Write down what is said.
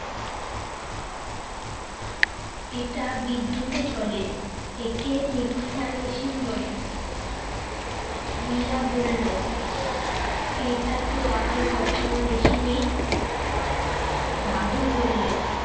এটা বিদ্যুতে চলে। একে মিক শ্চার মেশিন বলে। রিয়া বলল, এটাতো আগে কখনো দেখিনি। দাদু বললে,